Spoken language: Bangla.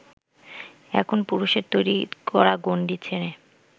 এখন পুরুষের তৈরি করা গণ্ডি ছেড়ে